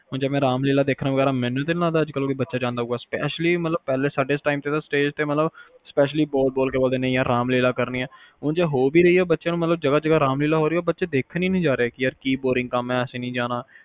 ਹੁਣ ਜਿਵੇ ਰਾਮਲੀਲਾ ਦੇਖਣ ਵਗੈਰਾ ਮੈਨੂੰ ਤਾ ਨੀ ਲੱਗਦਾ ਕੋਈ ਬੱਚਾ ਜਾਂਦਾ ਹੋਊਗਾ specially ਜਿਵੇ ਸਾਡੇ time ਤੇ ਆ ਹੁਣ stage ਤੇ ਮਤਲਬ specially ਬੋਲ ਬੋਲ ਕੇ ਕਿਹਣਾ ਕਿ ਰਾਮਲੀਲਾ ਕਰਨੀ ਆ ਉਝ ਜਿਵੇ ਹੋ ਵੀ ਰਹੀ ਆ ਜਗਾਹ ਜਗਾਹ ਰਾਮਲੀਲਾ ਹੋ ਵੀ ਰਹੀ ਹੈ ਤੇ ਬੱਚੇ ਦੇਖਣ ਹਿਨੀ ਜਾ ਰਹੇ ਯਾਰ ਕਿ ਬੋਰਿੰਗ ਕੰਮ ਆ